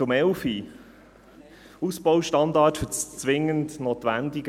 Zur Planungserklärung 11: Ausbaustandards für das zwingend Notwendige.